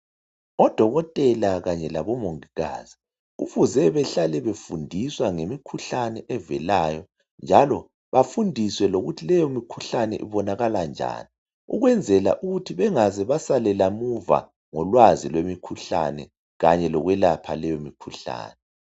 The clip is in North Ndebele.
Odokotela kanye labomongikazi kufuze behlale befundiswa ngemikhuhlane evelayo njalo bafundiswe lokuthi leyo mikhuhlane ibonakala njani ukwenzela ukuthi bengazi basalela muva ngolwazi lwemikhuhlane kanye lokwelapha leyomikhuhlane.